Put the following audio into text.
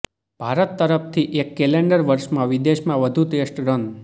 ભારત તરફથી એક કેલેન્ડર વર્ષમાં વિદેશમાં વધુ ટેસ્ટ રન